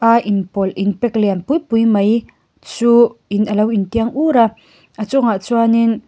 a inpawlh in pack lian pui pui mai chu in alo in tiang ur a a chuangah chuanin--